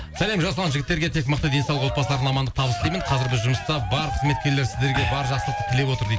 сәлем жасұлан жігіттерге тек мықты денсаулық отбасыларына амандық табыс тілеймін қазір біз жұмыста барлық қызметкерлер сіздерге барлық жақсылықты тілеп отыр дейді